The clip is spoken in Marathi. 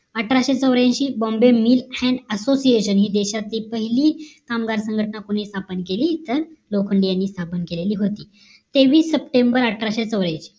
अठराशे चोऱ्याऐंशी BOMBAY MILL AND association हि देशातली पहिली कामगार संघटना हे कोणी स्थापन केली इथं लोखंडे यांनी स्थापन केलेली होती तेवीस सप्टेंबर अठराशे चौर्यांशी